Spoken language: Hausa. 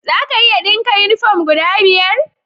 Za a iya dinka uniform guda biyar?